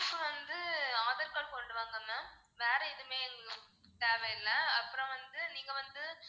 proof வந்து aadhar card கொண்டு வாங்க ma'am வேற எதுவுமே தேவையில்லை அப்பறம் வந்து நீங்க வந்து